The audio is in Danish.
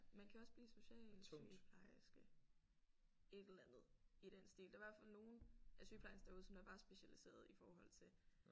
Man kan også blive socialsygeplejerske et eller andet i den stil der hvert fald nogle af sygeplejerskerne derude som der var specialiseret i forhold til